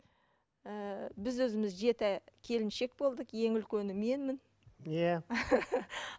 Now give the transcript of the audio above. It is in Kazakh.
ііі біз өзіміз жеті келіншек болдық ең үлкені менмін иә